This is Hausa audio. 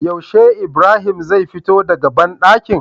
Yaushe ibrahim zai fito daka banɗakin?